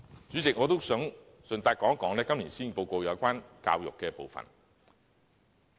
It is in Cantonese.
主席，我想順帶談談今年施政報告有關教育的部分。